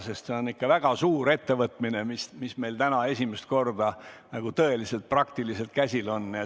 See on ikka väga suur ettevõtmine, mis meil täna esimest korda praktiliselt käsil on.